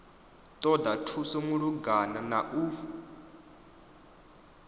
ṱoḓa thuso malugana na u